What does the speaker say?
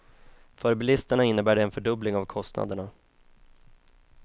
För bilisterna innebär det en fördubbling av kostnaderna.